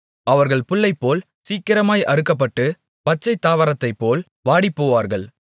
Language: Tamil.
அவர்கள் புல்லைப்போல் சீக்கிரமாய் அறுக்கப்பட்டு பச்சைத்தாவரத்தைப்போல் வாடிப்போவார்கள்